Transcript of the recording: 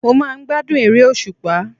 Mo máa n gbádùn eré òsùpá